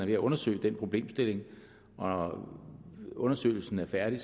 ved at undersøge den problemstilling når undersøgelsen er færdig